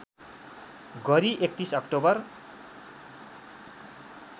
गरी ३१ अक्टोबर